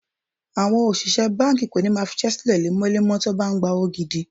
Àwọn òṣìṣẹ́ báńkì kò ní máa fiṣẹ́ sílẹ̀ lemọ́lemọ́ tí wọ́n bá ń gbówó gidi.